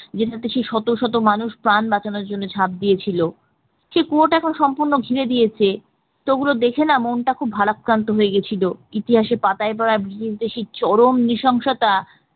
যেখানে সেই শত শত মানুষ প্রাণ বাঁচানোর জন্য ঝাঁপ দিয়েছিল সেই কুয়ো এখন সম্পূর্ণ ঘিরে দিয়েছে তো ওগুলো দেখে না মনটা খুব ভারাক্রান্ত হয়ে গিয়েছিল ইতিহাসের পাতায় পড়া সেই চরম নিশংসতা